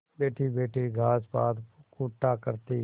बैठीबैठी घास पात कूटा करती